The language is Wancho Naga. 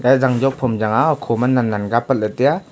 eya zangjop ham chang a okhoma nannan ka apat lahley taiya.